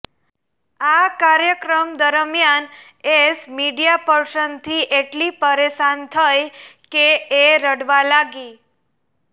આ કાર્યક્રમ દરમ્યાન એશ મીડિયા પર્સનથી એટલી પરેશાન થઈ કે એ રડવા લાગી